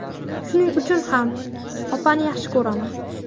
Shuning uchun ham opani yaxshi ko‘raman.